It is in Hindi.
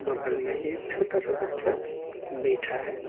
बगल में एक छोटा सा बच्चा बैठा है।